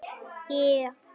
Hver fann upp húðflúr?